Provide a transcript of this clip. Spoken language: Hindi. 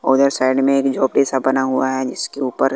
और उधर साइड में एक झोपडी सा बना हुआ है जिसके ऊपर--